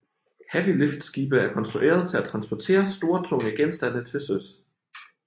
Heavyliftskibe er konstrueret til at transportere store tunge genstande til søs